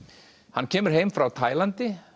hann kemur heim frá Tælandi